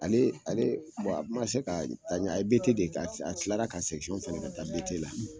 Ale ale kun ma se ka taa ɲɛ, a ye BT de kɛ , a tila ka fana kɛ ka taa BT la.